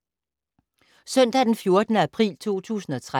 Søndag d. 14. april 2013